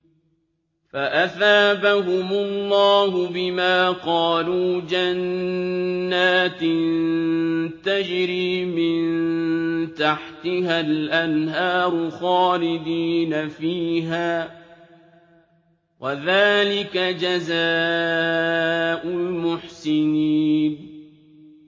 فَأَثَابَهُمُ اللَّهُ بِمَا قَالُوا جَنَّاتٍ تَجْرِي مِن تَحْتِهَا الْأَنْهَارُ خَالِدِينَ فِيهَا ۚ وَذَٰلِكَ جَزَاءُ الْمُحْسِنِينَ